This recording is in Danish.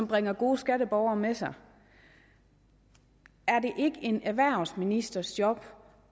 bringe gode skatteborgere med sig er det ikke en erhvervsministers job